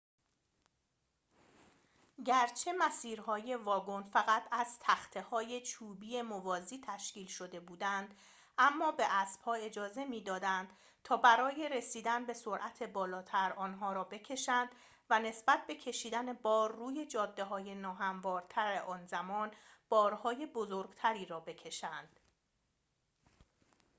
گرچه مسیر‌های واگن فقط از تخته های چوبی موازی تشکیل شده بودند اما به اسبها اجازه می دادند تا برای رسیدن به سرعت بالاتر آنها را بکشند و نسبت به کشیدن بار روی جاده های ناهموارتر آن زمان بارهای بزرگتری را بکشند